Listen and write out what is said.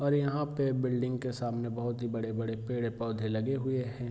और यहाँ पे बिल्डिंग के सामने बहुत ही बड़े-बड़े पेड़ पौधे लगे हुए हैं।